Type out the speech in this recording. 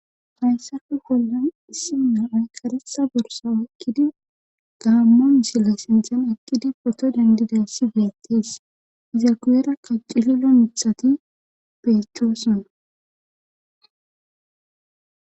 Fayssafe bollan issi na7ay qaresa borsa wokkidi gaammon sille sindana eqqidi poto dandiday si beeqtis iza kuyera kaccisila mithati beechchoosona